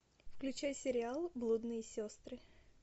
включай сериал блудные сестры